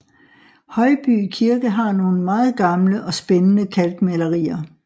Højby Kirke har nogle meget gamle og spændende kalkmalerier